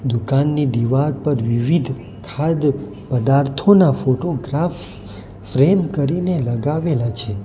દુકાનની દીવાર પર વિવિધ ખાદ પદાર્થોના ફોટોગ્રાફ ફ્રેમ કરીને લગાવેલા છે.